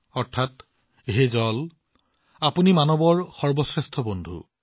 অৰ্থাৎ হে পানী আপুনি মানৱতাৰ সৰ্বশ্ৰেষ্ঠ বন্ধু